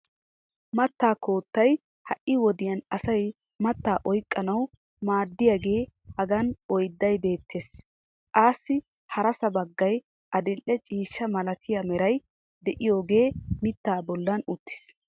mattaa koottay hai wodiyan asay mattaa oyqqanawu maadiyaagee hagan oydday beettees. assi harsa bagay adile ciishsha malattiya meray diyooge mitaa bolan uttiis.